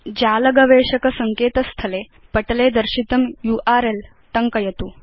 जाल गवेषक सङ्केत स्थले पटले दर्शितं यूआरएल टङ्कयतु